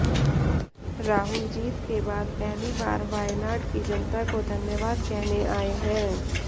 राहुल जीत के बाद पहली बार वायनाड की जनता को धन्यवाद कहने आए हैं